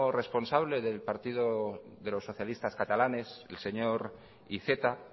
responsable de los socialistas catalanes el señor iceta